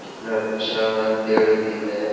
कितना अच्छा है पेड़ भी है ।